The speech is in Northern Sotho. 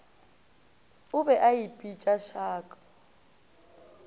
o be a ipitša shark